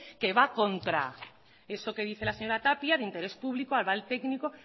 que va en contra de eso que dice la señora tapia de interés público aval técnico